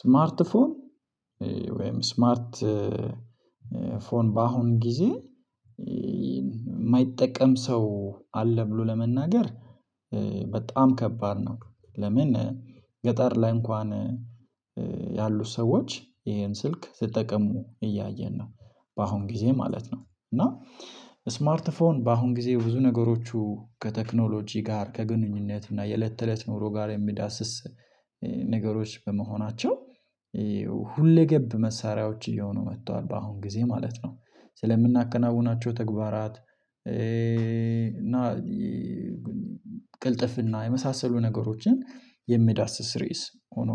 ስማርት ፎን ወይም ስማርት ፎን በአሁን ጊዜ የማይጠቀም ሰው አለ ብሎ ለመናገር በጣም ከባድ ነው። ለምን ገጠር ላይ እንኳን ያሉት ሰዎች ይሄን ስልክ ሲጠቀሙ እያየን ነው። በአሁን ጊዜ ማለት ነው። እና ስማርት ፎን በአሁን ጊዜ ብዙ ነገሮቹ ከቴክኖሎጂ ጋር ከግንኙነት እና የለት ተለት ኑሮ ጋር የሚዳስስ ነገሮች በመሆናቸው ሁለገብ መሳሪያዎች እየሆኑ መጥተዋል። በአሁን ጊዜ ማለት ነው ስለምናከናውናቸው ተግባራት እና ቅልጥፍና የመሳሰሉ ነገሮችን የሚዳስስ ርዕስ ሆኖ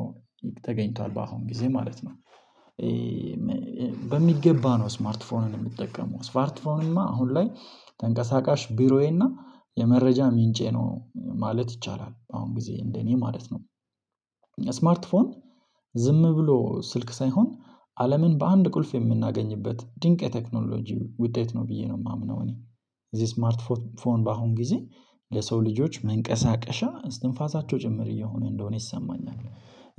ተገኝቷል በአሁን ጊዜ ማለት ነው። በሚገባ ነው ስማርትፎንን የምጠቀመው ስማርትፎንማ አሁን ላይ ተንቀሳቃሽ ቢሮዬና የመረጃ ምንጬ ነው ማለት ይቻላል። አሁን ጊዜ እንደኔ ማለት ነው ስማርት ፎን ዝም ብሎ ስልክ ሳይሆን አለምን በአንድ ቁልፍ የምናገኝበት ድንቅ የቴክኖሎጂ ውጤት ነው ብዬ ነው የማምነው። እኔ እዚህ ስማርት ፎን በአሁን ጊዜ ለሰው ልጆች መንቀሳቀሻ እስትንፋሳቸው ጭምር እየሆነ እንደሆነ ይሰማኛል።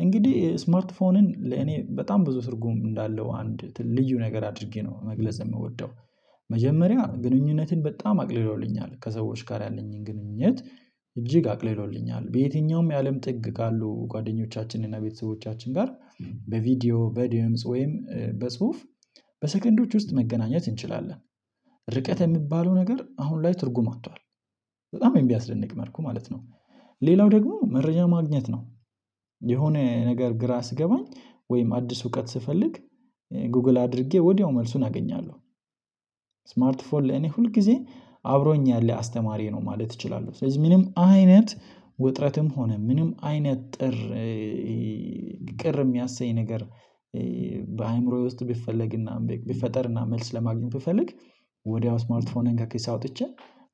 እንግዲህ ስማርት ፎንን ለእኔ በጣም ብዙ ትርጉም እንዳለው አንድ ልዩ ነገር አድርጌ ነው መግለጽ የምወደው። መጀመሪያ ግንኙነትን በጣም አቅልሎልኛል ከሰዎች ጋር ያለኝን ግንኙነት እጅግ አቅልሎልኛል በየትኛውም የአለም ጥግ ካሉ ጓደኞቻችንን እና ቤተሰቦቻችን ጋር በቪዲዮ በድምጽ ወይም በጽሁፍ በሰከንዶች ውስጥ መገናኘት እንችላለን። ርቀት የሚባለው ነገር አሁን ላይ ትርጉም አጥቷል። በጣም የሚያስደንቅ መልኩ ማለት ነው። ሌላው ደግሞ መረጃ ማግኘት ነው። የሆነ ነገር ግራ ሲገባኝ ወይም አዲስ እውቀት ስፈልግ ጉግል አድርጌ ወዲያው መልሱን አገኛለሁ። ስማርት ፎን ለኔ ሁል ጊዜ አብሮኝ ያለ አስተማሪ ነው ማለት እችላለሁ። ስለዚህ ምንም አይነት ውጥረትም ሆነ ምንም አይነት ጥር ቅር የሚያሰኝ ነገር በአእምሮዬ ውስጥ ቢፈለግና ቢፈጠርና መልስ ለማግኘት ብፈልግ ወዲያው ስማርትፎኔን ከኪሴ አወጥቼ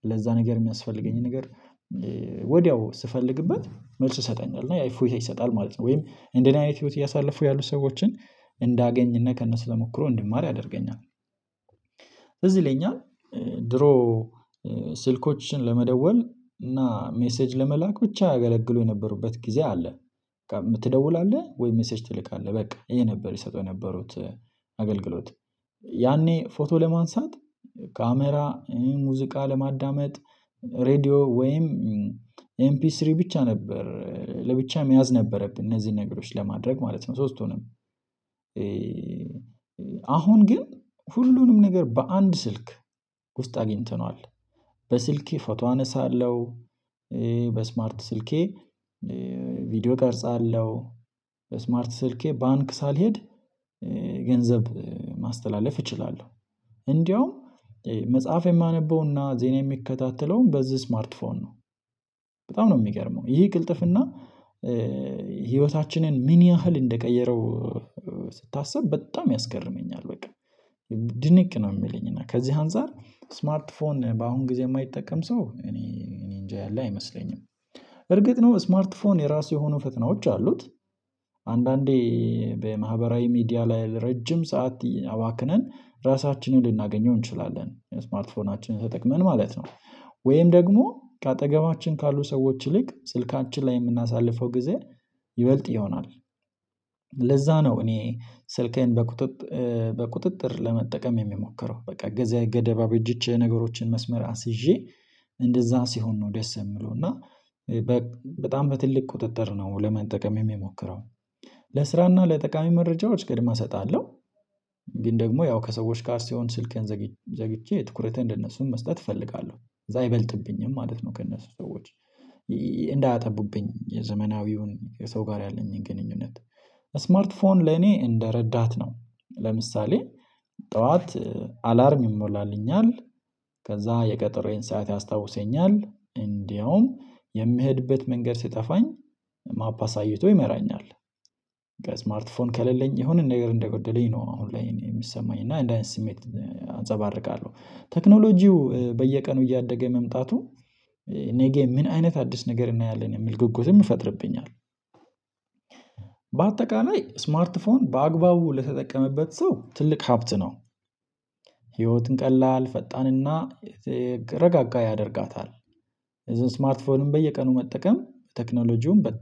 ለዛ ነገር የሚያስፈልገኝ ነገር ወዲያው ስፈልግበት መልስ ይሰጠኛል እና ያ እፎይታ ይሰጣል ማለት ነው። ወይም እንደኔ አይነት ህይወት እያሳለፉ ያሉ ሰዎችን እንዳገኝና ከነሱ ተመክሮ እንዲማር ያደርገኛል። ስለዚህ ለኛ ድሮ ስልኮችን ለመደወል እና ሜሴጅ ለመላክ ብቻ ያገለግሉ የነበሩበት ጊዜ አለ። በቃ የምትደውላለህ ወይ ሜሴጅ ትልካለህ በቃ ይሄ ነበር ይሰጠው የነበሩት። አገልግሎት ያኔ ፎቶ ለማንሳት ካሜራ ሙዚቃ ለማዳመጥ ሬድዮ ወይም ኤምፒስሪ ብቻ ነበር። ለብቻ መያዝ ነበረብን እነዚህን ነገሮች ለማድረግ ማለት ነው። ሶስቱንም አሁን ግን ሁሉንም ነገር በአንድ ስልክ ውስጥ አግኝተነዋል። በስልኬ ፎቶ አነሳለሁ። በስማርት ስልኬ ቪዲዮ ቀርጻለሁ። በስማርት ስልኬ ባንክ ሳልሄድ ገንዘብ ማስተላለፍ እችላለሁ። እንዲያውም መጽሐፍ የማነበውና ዜና የሚከታተለውም በዚህ ስማርትፎን ነው። በጣም ነው የሚገርመው ይሄ ቅልጥፍና ህይወታችንን ምን ያህል እንደቀየረው ስታስብ በጣም ያስገርመኛል። በቃ ድንቅ ነው የሚለኝ እና ከዚህ አንፃር ስማርት ፎን በአሁን ጊዜ የማይጠቀም ሰው እኔ እኔ እንጃ ያለ አይመስለኝም። እርግጥ ነው ስማርት ፎን የራሱ የሆኑ ፈተናዎች አሉት። አንዳንዴ በማህበራዊ ሚዲያ ላይ ለረጅም ሰዓት አባክነን ራሳችንን ልናገኘው እንችላለን ስማርት ፎናችንን ተጠቅመን ማለት ነው። ወይም ደግሞ ከአጠገባችን ካሉ ሰዎች ይልቅ ስልካችን ላይ የምናሳልፈው ጊዜ ይበልጥ ይሆናል። ለዛ ነው እኔ ስልኬን በቁጥጥር ለመጠቀም የሚሞከረው በቃ ጊዜ ገደብ እበጅቼ ነገሮችን መስመር አስይዤ እንደዛ ሲሆን ነው ደስ የሚለው። እና በጣም በትልቅ ቁጥጥር ነው ለመጠቅም የሚሞክረው። ለስራና ለጠቃሚ መረጃዎች ቅድሚያ እሰጣለሁ። ግን ደግሞ ያው ከሰዎች ጋር ሲሆን ስልክህን ዘግቼ ትኩረቴን ለነሱም መስጠት እፈልጋለሁ ከዛ አይበልጥብኝም ማለት ነው። ከእነሱ ሰዎች እንዳያጠቡብኝ የዘመናዊውን የሰው ጋር ያለኝን ግንኙነት ስማርት ፎን ለኔ እንደረዳት ነው። ለምሳሌ ጠዋት አላርም ይሞላልኛል። ከዛ የቀጠሮዬን ሰዓት ያስታውሰኛል እንዲያውም የምሄድበት መንገድ ሲጠፋኝ ማፕ አሳይቶ ይመራኛል። ስማርት ፎን ከሌለኝ የሆነ ነገር እንደጎደለኝ ነው አሁን ላይ የሚሰማኝ እና አንደዚህ አይነት ስሜት አንፀባርቃለሁ። ቴክኖሎጂው በየቀኑ እያደገ መምጣቱ እኔ ጌም ምን አይነት አዲስ ነገር እናያለን የሚልም ጉጉትም ይፈጥርብኛል። በአጠቃላይ ስማርት ፎን በአግባቡ ለተጠቀመበት ሰው ትልቅ ሀብት ነው። ህይወትን ቀላል ፈጣንና ረጋጋ ያደርጋታል። ስማርት ፎን በየቀኑ መጠቀም ቴክኖሎጂውን በጣም